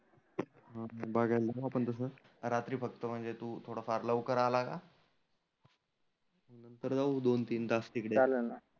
हा बघायला जाऊ आपण तसं रात्री फक्त म्हणजे तु थोडा फार लवकर आला ना. नंतर जाऊ दोन तीन तास तीकडे.